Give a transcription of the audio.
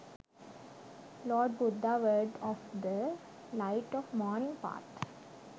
lord buddha words of the light of morning path